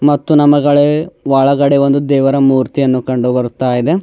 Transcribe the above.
ಮತ್ತು ನಮಗಳ ಒಳಗಡೆ ಒಂದು ದೇವರ ಮೂರ್ತಿಯನ್ನು ಕಂಡು ಬರ್ತಾ ಇದೆ.